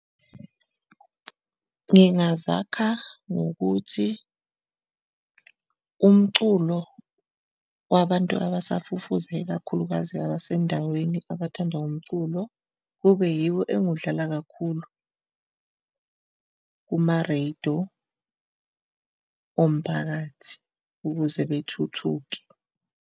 Ngingazakha ngokuthi umculo wabantu abasafufusa, ikakhulukazi abasendaweni abathanda umculo kube yiwo engiwudlala kakhulu kumareyido omphakathi, ukuze bethuthuke.